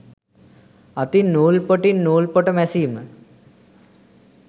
අතින් නූල් පොටින් නූල්පොට මැසීම